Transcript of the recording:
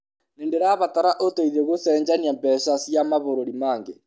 Nĩ ndĩrabatara ũteithio gũcenjania mbeca cia mabũrũri mangĩ.